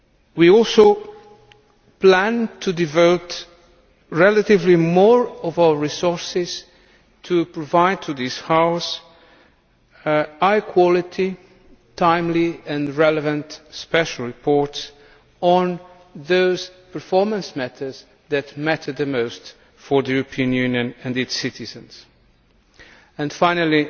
We also plan to devote relatively more of our resources to giving this House high quality, timely and relevant special reports on those performance methods that matter the most for the European Union and its citizens. Finally,